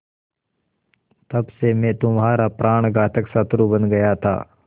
तब से मैं तुम्हारा प्राणघातक शत्रु बन गया था